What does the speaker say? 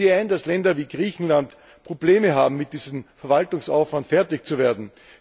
Ich sehe ein, dass Länder wie Griechenland Probleme haben, mit diesem Verwaltungsaufwand fertig zu werden.